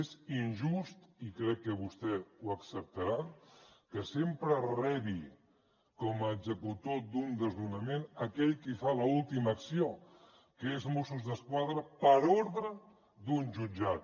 és injust i crec que vostè ho acceptarà que sempre rebi com a executor d’un desnonament aquell qui fa l’última acció que és mossos d’esquadra per ordre d’un jutjat